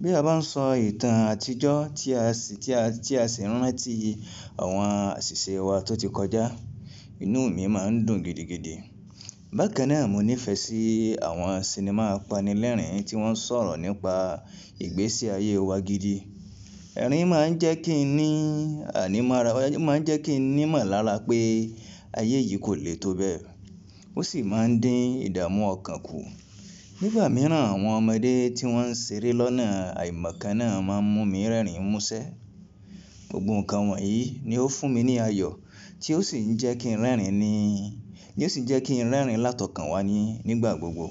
Bí a bá ń sọ ìtàn àtijọ́ tí a sì ń rántí àwọn àṣìṣe wa tó ti kọjá, inú mi má ń dùn gidigidi. Bákan náà, mo nífẹ̀ẹ́ sí àwọn sinimá apanilẹ́rìn tí wọ́n sọ̀rọ̀ nípa ìgbésí ayé wa gidi. Ẹ̀rín má ń jẹ́ kí n ní animora ó má jẹ́ kini ìmọ̀lára pé ayé yìí kò le tó bẹ́ẹ̀, ó sì má ń dín ìdààmú ọkàn kù. Nígbà mìíràn, àwọn ọmọdé tí wọ́n ń ṣeré lọ́nà àìmọ̀ kan náà má ń mú mi rẹ́rìn músẹ́. Gbogbo nǹkan wọ̀nyí ni ó fún mi ní ayọ̀ tí ó sì jẹ́ kí n rẹ́rìn ní tí ó ṣe jẹ́ kín rẹ́rìn lá tọkànwá nígbà gbogbo.